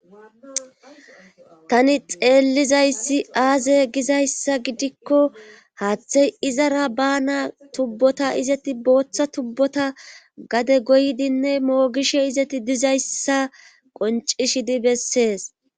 Tani xeellizayssi aaze gizayssa gidikko haaththey izara bana tubbota izeti booththa tubbota gade goydinne moogishe izeti dizayssa qoncishidi bessees.